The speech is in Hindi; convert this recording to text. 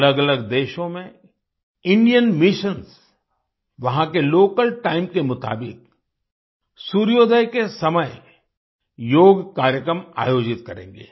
अलगअलग देशों में इंडियन मिशन्स वहाँ के लोकल टाइम के मुताबिक सूर्योदय के समय योग कार्यक्रम आयोजित करेंगे